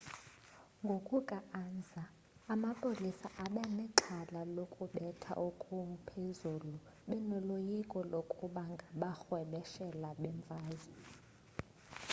ngokuka-ansa amapolisa abenexhala lokubetha okuphezulu benoloyiko lokuba bangarhwebeshela bemfazwe